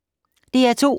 DR2